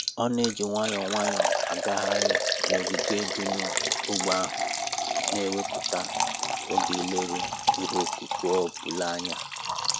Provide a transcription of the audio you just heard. Ọ na-eji nwayọọ nwayọọ agagharị n'ogige dị n'ógbè ahụ, na-ewepụta oge ileru ihe ọkụkụ ọ ọ bụla anya